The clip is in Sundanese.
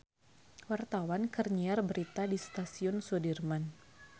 Wartawan keur nyiar berita di Stasiun Sudirman